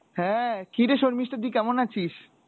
হ্যাঁ, কিরে শর্মিষ্ঠা তুই কেমন আছিস?